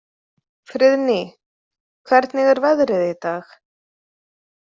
Friðný, hvernig er veðrið í dag?